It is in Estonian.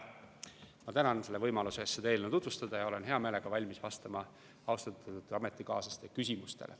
Ma tänan võimaluse eest seda eelnõu tutvustada ja olen hea meelega valmis vastama austatud ametikaaslaste küsimustele.